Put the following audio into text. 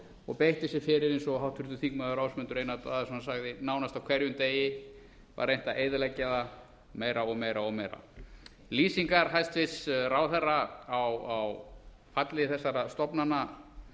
og beitt sér fyrir eins og háttvirtur þingmaður ásmundur einar daðason sagði nánast á hverjum degi var reynt að eyðileggja það meira og meira og meira lýsingar hæstvirtur ráðherra á falli þessara stofnana